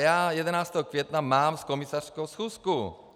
Já 11. května mám s komisařkou schůzku.